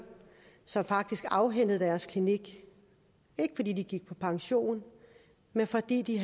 som faktisk afhændede deres klinik ikke fordi de gik på pension men fordi de